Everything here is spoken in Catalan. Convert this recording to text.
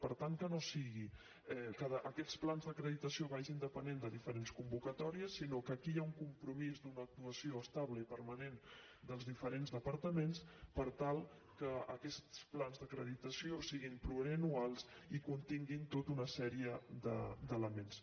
per tant que no sigui que aquests plans d’acreditació vagin depenent de diferents convocatòries sinó que aquí hi ha un compromís d’una actuació estable i permanent dels diferents departaments per tal que aquests plans d’acreditació siguin plurianuals i continguin tota una sèrie d’elements